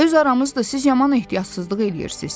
Öz aramızdır, siz yaman ehtiyatsızlıq eləyirsiz.